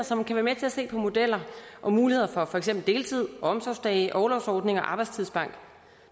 som kan være med til at se på modeller og muligheder for for eksempel deltid omsorgsdage orlovsordninger og arbejdstidsbank